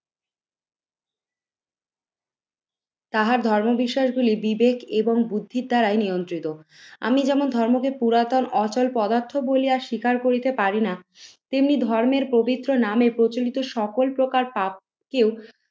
তাহার ধর্ম বিষয়গুলি বিবেক এবং বুদ্ধির দ্বারাই নিয়ন্ত্রিত। আমি যেমন ধর্মকে পুরাতন অচল পদার্থ বলিয়া শিকার করিতে পারি না তেমনি ধর্মের পবিত্র নামে প্রচলিত সকল প্রকার পাপ কে ও